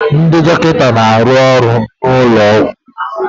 Ndị dọkịta na-arụ ọrụ n'ụlọ ọgwụ